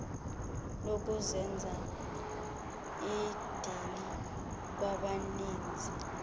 lokuzenza idini kwabaninzi